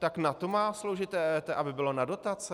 Tak na to má sloužit EET, aby bylo na dotace?